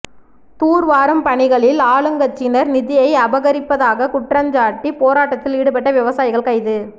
தூர்வாரும் பணிகளில் ஆளுங்கட்சியினர் நிதியை அபகரிப்பதாக குற்றஞ்சாட்டி போராட்டத்தில் ஈடுபட்ட விவசாயிகள் கைது